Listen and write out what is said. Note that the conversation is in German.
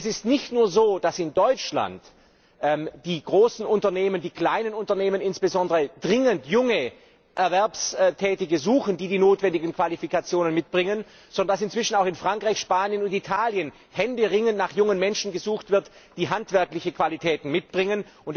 Es ist nicht nur so, dass in Deutschland die großen und insbesondere die kleinen Unternehmen dringend junge Erwerbstätige suchen, die die erforderlichen Qualifikationen mitbringen, sondern dass inzwischen auch in Frankreich, Spanien, Italien händeringend nach jungen Menschen gesucht wird, die handwerkliche Qualitäten mitbringen.